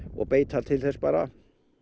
og beita til þess bara